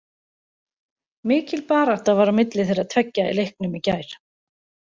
Mikil barátta var á milli þeirra tveggja í leiknum í gær.